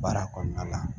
Baara kɔnɔna la